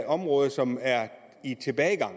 område som er i tilbagegang